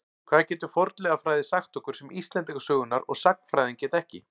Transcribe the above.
Hvað getur fornleifafræði sagt okkur sem Íslendingasögurnar og sagnfræðin geta ekki?